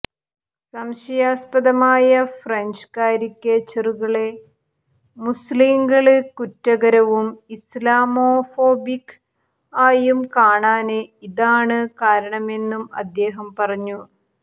സംശയാസ്പദമായ ഫ്രഞ്ച് കാരിക്കേച്ചറുകളെ മുസ്ലിംകള് കുറ്റകരവും ഇസ്ലാമോഫോബിക് ആയും കാണാന് ഇതാണ് കാരണമെന്നും അദ്ദേഹം പറഞ്ഞു